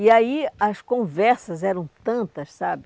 E aí as conversas eram tantas, sabe?